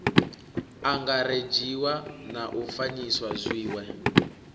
angaredziwa na u fanyisa zwiwe